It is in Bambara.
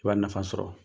I b'a nafa sɔrɔ